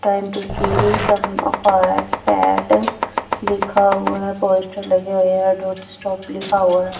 time to kill some fat लिखा हुआ है पोस्टर लगे हुए है डोनट स्टॉप लिखा हुआ --